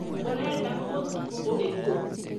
ũrenda mũtu ũrĩkũ?